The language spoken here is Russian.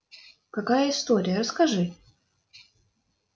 какая история расскажи